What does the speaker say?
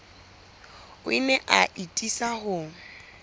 o ne a atisa ho